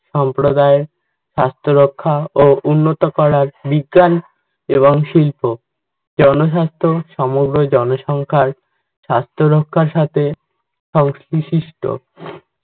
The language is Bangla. সম্প্রদায়ের স্বাস্থ্য রক্ষা ও উন্নত করার বিজ্ঞান এবং শিল্প। জনস্বাস্থ্য সমগ্র জনসংখ্যার স্বাস্থ্যরক্ষার সাথে